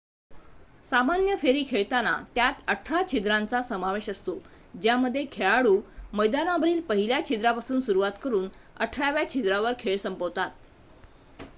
सामान्य फेरी खेळताना त्यात अठरा छिद्रांचा समावेश असतो ज्यामध्ये खेळाडू मैदानावरील पहिल्या छिद्रापासून सुरुवात करून अठराव्या छिद्रावर खेळ संपवतात